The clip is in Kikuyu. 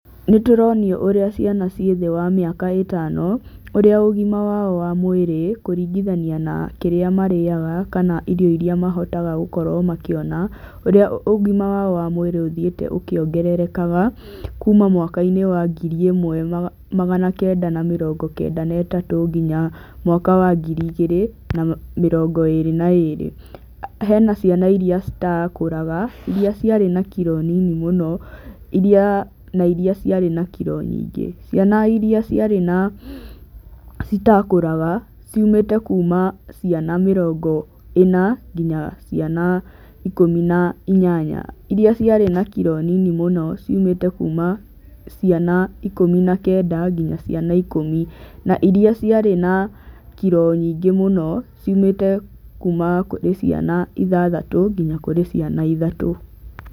Nĩ tũronio ũrĩa ciana ciĩ thĩ wa mĩaka ĩtano, ũrĩa ũgima wao wa mwĩrĩ, kũringithania na kĩrĩa marĩaga, kana irio irĩa mahotaga gũkorwo makĩona, ũrĩa ũgima wao wa mwĩrĩ ũthiĩte ũkĩongererekaga, kuuma mwaka-inĩ wa ngiri ĩmwe magana kenda na mĩrongo kenda na ĩtatũ nginya mwaka wa ngiri igĩrĩ na mĩrongo ĩĩrĩ na ĩĩrĩ. Hena ciana irĩa itakũraga, irĩa ciarĩ na kiro nini mũno, irĩa na irĩa ciarĩ na kiro nyingĩ. Ciana irĩa ciarĩ na itakũraga, ciumĩte kuuma ciana mĩronga ĩna, nginya ciana ikũmi na inyanya. Irĩa ciarĩ na kiro nini mũno, ciumĩte kuuma ciana ikũmi na kenda, nginya ciana ikũmi. Na irĩa ciarĩ na kiro nyingĩ mũno, ciumĩte kuuma kũrĩ ciana ithathatũ nginya kũrĩ ciana ithatũ.